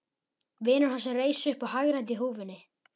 Vinur hans reis upp og hagræddi húfunni.